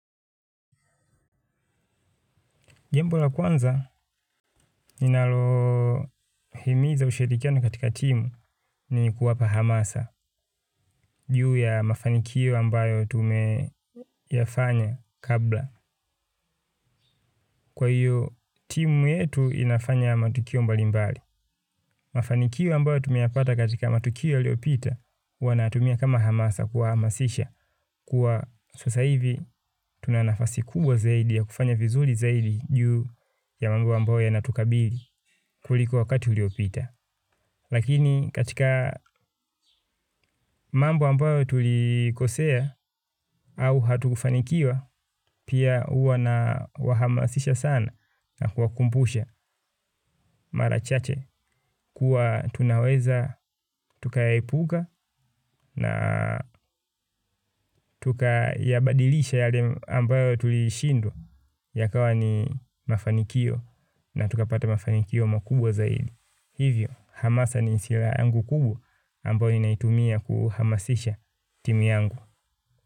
Jambo la kwanza, ninalohimiza ushirikiano katika timu ni kuwapa hamasa, juu ya mafanikio ambayo tumeyafanya kabla. Kwa hiyo, timu yetu inafanya matukio mbalimbali. Mafanikio ambayo tumeyapata katika matukio iliopita, huwa nayatumia kama hamasa kuwahamasisha. Kwa sasa hivi, tuna nafasi kubwa zaidi ya kufanya vizuri zaidi juu ya mambo ambayo yanatukabili kuliko wakati uliopita. Lakini katika mambo ambayo tulikosea au hatukufanikiwa pia huwa nawahamasisha sana na kuwakumbusha mara chache kuwa tunaweza tukayaepuka na tukayabadilisha yale ambayo tulishindwa yakawa ni mafanikio na tukapata mafanikio makubwa zaidi. Hivyo, hamasa ni hasira yangu kubwa ambayo ninaitumia kuhamasisha timu yangu.